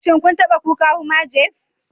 Shin kun taba tuka Hummer jeep